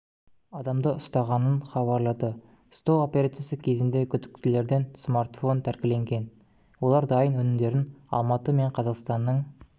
адамды ұстағанын хабарлады ұстау операциясы кезінде күдіктілерден смартфон тәркіленген олар дайын өнімдерін алматы мен қазақстанның